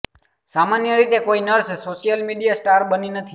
સામાન્ય રીતે કોઈ નર્સ સોશિયલ મીડિયા સ્ટાર બની નથી